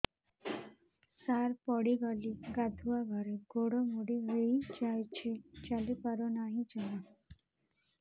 ସାର ପଡ଼ିଗଲି ଗାଧୁଆଘରେ ଗୋଡ ମୋଡି ହେଇଯାଇଛି ଚାଲିପାରୁ ନାହିଁ ଜମା